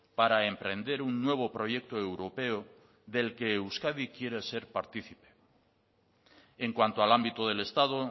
para emprender un nuevo proyecto europeo del que euskadi quiere ser partícipe en cuanto al ámbito del estado